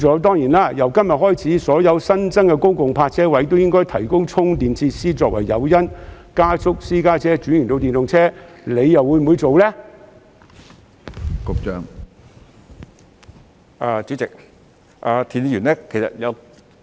當然，由今天開始，所有新增的公共泊車位亦應提供充電設施，作為加速私家車車主轉用電動車的誘因，局長會否落實呢？